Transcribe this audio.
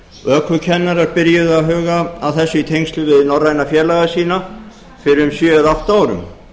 ökukennarar byrjuðu að huga að þessu í tengslum við norræna félaga sína fyrir um sjö eða átta árum